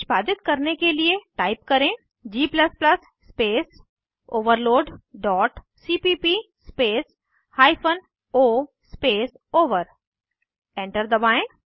निष्पादित करने के लिए टाइप करें g space overload dot cpp space hyphen o space over enter दबाएं